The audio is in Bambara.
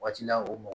Waati la o mɔgɔ